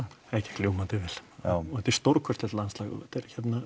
það gekk ljómandi vel já og þetta er stórkostlegt landslag þetta er